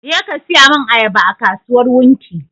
Je ka saya mun ayaba a kasuwar wunti!